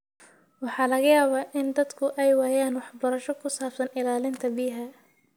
Waxaa laga yaabaa in dadku ay waayaan waxbarasho ku saabsan ilaalinta biyaha.